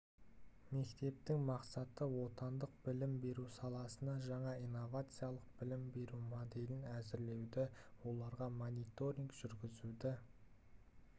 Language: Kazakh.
мектептерінің мақсаты отандық білім беру саласына жаңа инновациялық білім беру моделін әзірлеуді оларға мониторинг жүргізуді